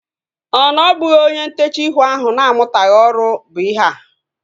Ọ na ọ bụghị onye ntechaa ihu ahu na-amutaghi ọrụ bụ ihea?